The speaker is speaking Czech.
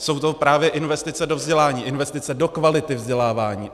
Jsou to právě investice do vzdělání, investice do kvality vzdělávání.